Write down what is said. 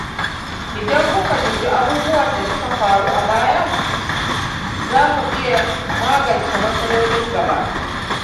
Idan muka dubi abubuwan da suka faru a baya, za mu iya magance matsalolin gaba.